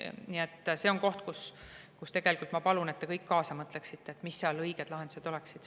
Nii et see on koht, kus tegelikult ma palun, et te kõik kaasa mõtleksite, mis need õiged lahendused seal oleksid.